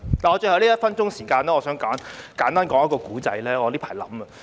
在最後1分鐘時間，我想簡單說一個故事，是我最近想到的。